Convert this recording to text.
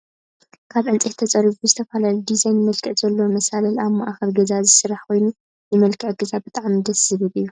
ካብ ዕንፀይቲ ተፀሪቡ ብዝተፈላለዩ ዲዛይን መልክዕ ዘለዎ መሳልል ኣብ ማእከል ገዛ ዝስራሕ ኮይኑ ፣ ንመልክዕ ገዛ ብጣዕሚ ደስ ዝብል እዩ።